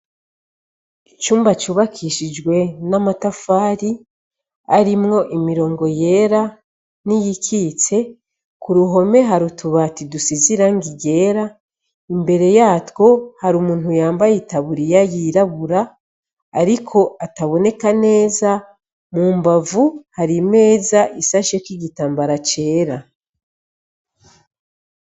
Icumba cubakishijwe n'amatafari arimwo imirongo yera n'iyikitse Ku ruhome hari utubati dusize irangi ryera imbere yatwo hari umuntu yambaye itaburiya yirabura ariko ataboneka neza mu mbavu Hari imeza isasheko igitambara cera.